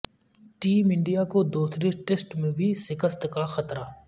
team India کو دوسرے test میں بھی شکست کا خطرہ